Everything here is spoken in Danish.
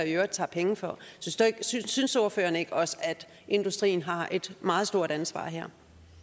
i øvrigt tager penge for synes synes ordføreren ikke også at industrien har et meget stort ansvar her